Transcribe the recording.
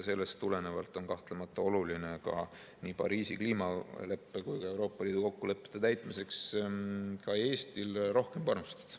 Sellest tulenevalt on kahtlemata oluline nii Pariisi kliimaleppe kui ka Euroopa Liidu kokkulepete täitmiseks Eestil samuti rohkem panustada.